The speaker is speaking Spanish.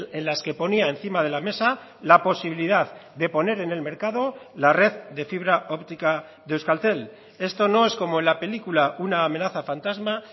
en las que ponía encima de la mesa la posibilidad de poner en el mercado la red de fibra óptica de euskaltel esto no es como en la película una amenaza fantasma